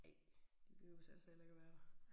Ej. De behøves altså heller ikke at være der